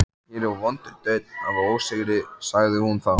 Jú, ég er búinn að segja þér það.